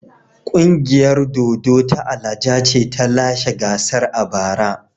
Ƙungiyar dodo ta Alaja ce ta lashe gasar a bara.